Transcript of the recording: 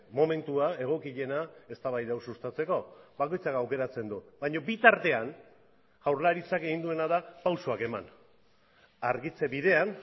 momentua egokiena eztabaida hau sustatzeko bakoitzak aukeratzen du baina bitartean jaurlaritzak egin duena da pausuak eman argitze bidean